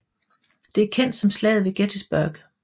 Det er kendt som Slaget ved Gettysburg